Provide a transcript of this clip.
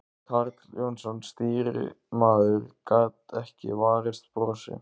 Karl Jónsson, stýrimaður, gat ekki varist brosi.